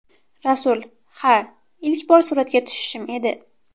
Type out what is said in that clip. Rasul: Ha, ilk bor suratga tushishim edi.